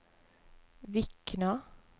Vikna